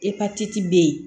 Epatiti bɛ yen